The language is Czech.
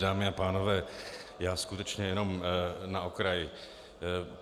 Dámy a pánové, já skutečně jenom na okraj.